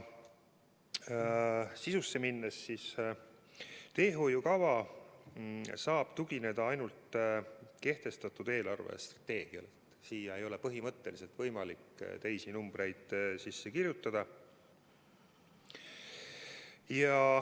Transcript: Kui sisusse minna, siis saab teehoiukava tugineda ainult kehtestatud eelarvestrateegiale, sinna ei ole põhimõtteliselt võimalik teisi numbreid sisse kirjutada.